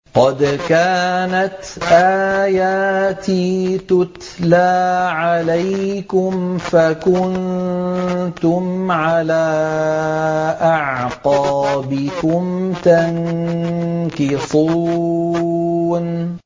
قَدْ كَانَتْ آيَاتِي تُتْلَىٰ عَلَيْكُمْ فَكُنتُمْ عَلَىٰ أَعْقَابِكُمْ تَنكِصُونَ